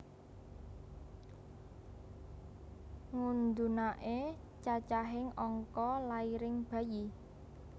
Ngudhunake cacahing angka lairing bayi